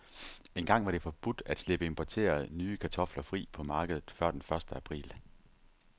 Engang var det forbudt at slippe importerede, nye kartofler fri på markedet før den første april.